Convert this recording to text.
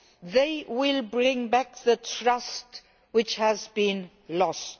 They will bring back the trust which has been lost.